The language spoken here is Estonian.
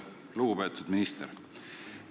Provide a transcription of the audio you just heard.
Lugupeetud minister!